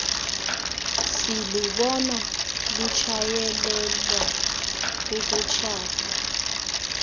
silubona lutshayeleelwa kukutshata